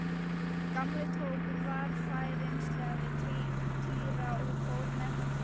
Gamli tók varfærnislega við Týra og fór með hann þangað.